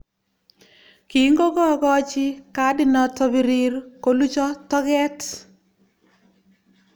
"kingokookochi kadinoto birir kolucho toket ".